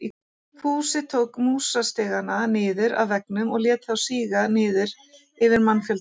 Fúsi tók músastigana niður af veggjunum og lét þá síga niður yfir mannfjöldann.